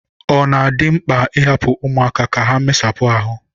ọ na-adị mkpa ịhapụ ụmụaka ka ha mesapụ ahụ